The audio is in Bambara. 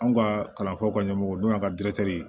Anw ka kalanfaw ka ɲɛmɔgɔw donna ka